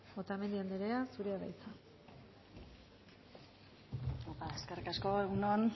otamendi anderea zurea da hitza eskerrik asko egun on